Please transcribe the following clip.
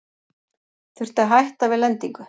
Þurfti að hætta við lendingu